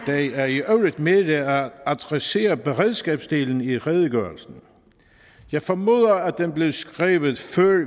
er i øvrigt mere at adressere beredskabsdelen i redegørelsen jeg formoder at den blev skrevet før